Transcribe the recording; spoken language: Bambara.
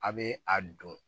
A bɛ a don